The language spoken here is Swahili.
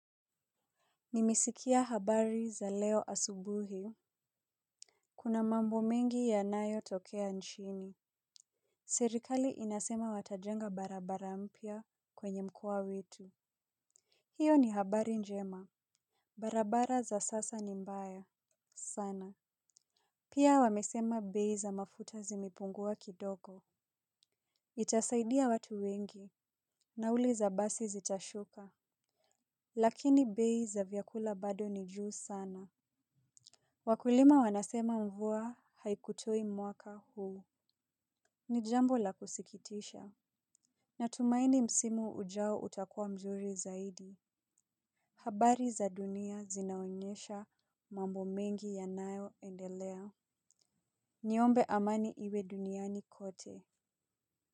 Nimesikia habari za leo asubuhi. Kuna mambo mingi ya nayo tokea nchini. Serikali inasema watajenga barabara mpya kwenye mkoa wetu. Hiyo ni habari njema. Barabara za sasa ni mbaya sana. Pia wamesema bei za mafuta zimepungua kidogo. Itasaidia watu wengi. Nauli za basi zitashuka. Lakini bei za vyakula bado ni juu sana. Wakulima wanasema mvua haikutoi mwaka huu. Nijambo la kusikitisha. Natumaini msimu ujao utakua mzuri zaidi. Habari za dunia zinaonyesha mambo mengi ya nayo endelea. Niombe amani iwe duniani kote.